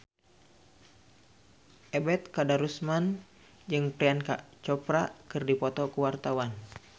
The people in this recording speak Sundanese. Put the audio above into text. Ebet Kadarusman jeung Priyanka Chopra keur dipoto ku wartawan